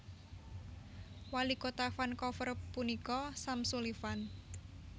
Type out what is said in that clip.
Walikota Vancouver punika Sam Sullivan